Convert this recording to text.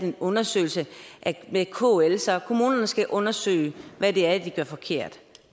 en undersøgelse med kl så kommunerne skal undersøge hvad det er de gør forkert